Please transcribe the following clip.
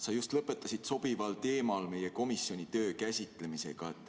Hea Enn, sa lõpetasid sobival teemal meie komisjoni töö käsitlemisega.